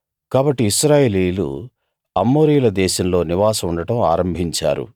కాబట్టి ఇశ్రాయేలీయులు అమోరీయుల దేశంలో నివాసం ఉండడం ఆరంభించారు